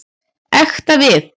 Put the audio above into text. Ekta við.